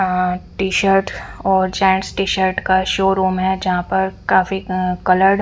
अ T shirt और gents T shirt का showroom है जहाँ पर काफी अ कलर्ड --